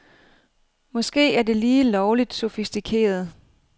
Måske er det lige lovligt sofistikeret.